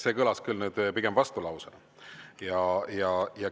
See kõlas küll pigem vastulausena.